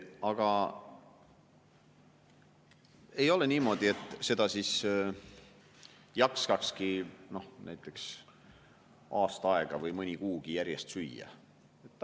Aga ei ole niimoodi, et seda siis jaksaks näiteks aasta aega või mõni kuugi järjest süüa.